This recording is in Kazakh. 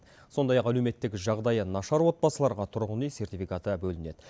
сондай ақ әлеуметтік жағдайы нашар отбасыларға тұрғын үй сертификаты бөлінеді